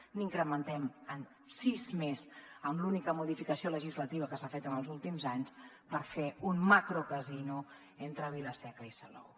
ho incrementem amb sis més amb l’única modificació legislativa que s’ha fet en els últims anys per fer un macrocasino entre vila seca i salou